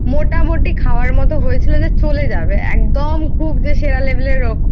মোটামুটি খাওয়ার মতো হয়েছিল যে চলে যাবে খুব যে সেরা level এর